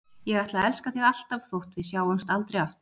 Ég ætla að elska þig alltaf þótt við sjáumst aldrei aftur.